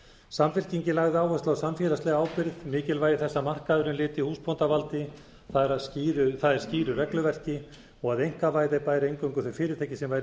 samfylkingin lagði áherslu á samfélagslega ábyrgð mikilvægi þess að markaðurinn lyti húsbóndavaldi það er skýru regluverki og að einkavæða bæri eingöngu þau fyrirtæki sem væru í